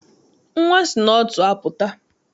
Nnwa si n'ọtụ apụta.